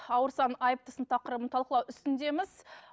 ауырсаң айыптысың тақырыбын талқылау үстіндеміз